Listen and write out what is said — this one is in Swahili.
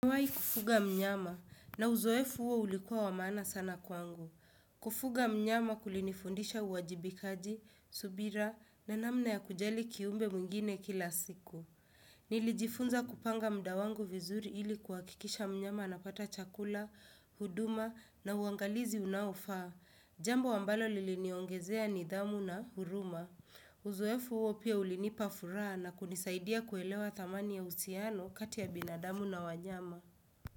Nimewahi kufuga mnyama na uzoefu huo ulikuwa wa maana sana kwangu. Kufuga mnyama kulinifundisha uwajibikaji, subira na namna ya kujali kiumbe mwingine kila siku. Nilijifunza kupanga muda wangu vizuri ili kuhakikisha mnyama anapata chakula, huduma na uangalizi unaofaa. Jambo ambalo liliniongezea nidhamu na huruma. Uzoefu huo pia ulinipa furaha na kunisaidia kuelewa thamani ya uhusiano kati ya binadamu na wanyama.